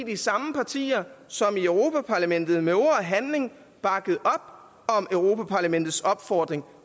de samme partier som i europa parlamentet med ord og handling bakkede op om europa parlamentets opfordring